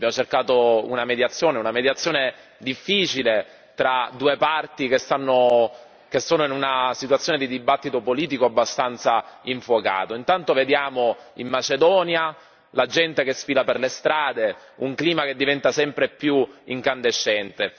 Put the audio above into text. Abbiamo cercato una mediazione, una mediazione difficile tra due parti che sono in una situazione di dibattito politico abbastanza infuocato. Intanto vediamo in Macedonia la gente che sfila per le strade, in un clima che diventa sempre più incandescente.